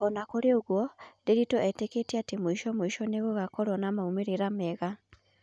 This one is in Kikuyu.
Ona kũrĩ ũguo ,Nderitu etĩketie atĩ mũico mũico nĩgũgakorwo na maumerera mega